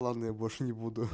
ладно я больше не буду